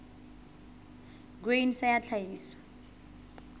grain sa ya tlhahiso ya